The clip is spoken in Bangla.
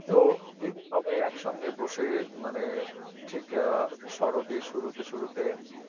তো এই যে সবাই একসঙ্গে বসে মানে ঠিক শরতের শুরুতে শুরুতে